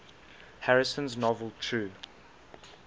harrison's novel true